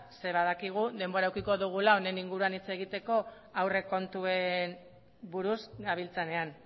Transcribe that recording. zeren eta badakigu denbora edukiko dugula honen inguruan hitz egiteko aurrekontuen buruz gabiltzanean